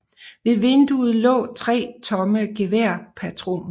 Ved vinduet lå tre tomme geværpatroner